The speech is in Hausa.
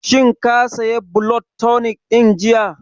Shin ka saya blood tonic ɗin jiya?